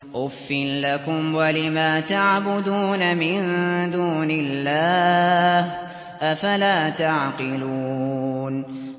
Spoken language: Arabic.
أُفٍّ لَّكُمْ وَلِمَا تَعْبُدُونَ مِن دُونِ اللَّهِ ۖ أَفَلَا تَعْقِلُونَ